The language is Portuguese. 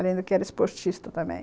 Além do que era esportista também.